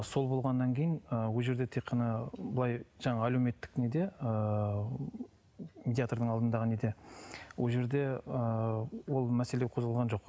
сол болғаннан кейін ы ол жерде тек қана былай жаңағы әлеуметтік неде ыыы медиатрдың алдындағы неде ол жерде ыыы ол мәселе қозғалған жоқ